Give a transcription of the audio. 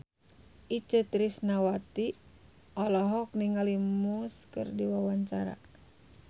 Itje Tresnawati olohok ningali Muse keur diwawancara